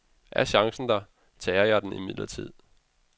Er chancen der, tager jeg den imidlertid.